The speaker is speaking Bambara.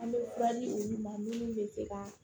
An bɛ olu ma minnu bɛ se ka